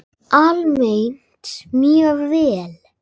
Almennt mjög vel.